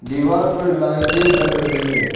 दीवार पर लाइटें जल रही हैं।